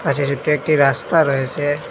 পাশে ছোট একটি রাস্তা রয়েসে।